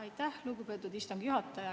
Aitäh, lugupeetud istungi juhataja!